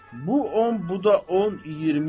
Bu 10, bu da 10, 20.